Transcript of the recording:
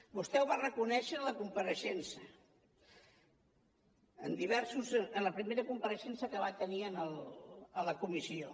vostè ho va reconèixer en la compareixença en la primera compareixença que va tenir a la comissió